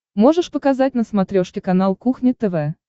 можешь показать на смотрешке канал кухня тв